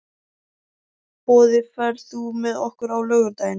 Boði, ferð þú með okkur á laugardaginn?